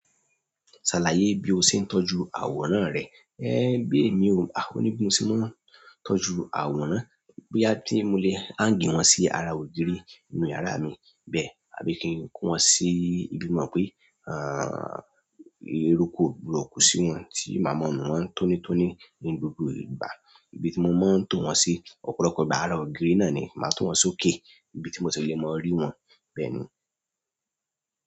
"Ṣàlàyé bí o ṣe ń tọ́jú àwòrán rẹ." Ẹ̀ bí èmi ò, òní bi mose ma n tọ́jú àwòrán, bóyá tí mo lè hang wọn sí ara ògiri inú yàrá mi bẹ́ẹ̀ àbí kí n kó wọn sí ibi mo mọ̀ pé, a, eruku kò le ku sí wọn tí máa mọ nu wọn tónítóní ní gbogbo ìgbà. Ibi tí mo máa ń to wọn sí ọ̀pọ̀lọpọ̀ ìgbà ara ògiri náà ni màá to wọn sókè. Ibi tí mo tilé máa rí wọn bẹ́ẹ̀ ni.